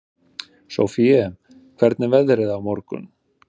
Sofie, hvernig er veðrið á morgun?